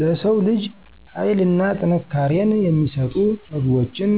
ለሰው ልጅ ሀይልና ጥንካሬን የሚሰጡ ምግቦችን